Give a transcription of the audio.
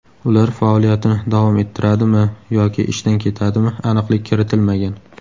Ular faoliyatini davom ettiradimi yoki ishdan ketadimi aniqlik kiritilmagan.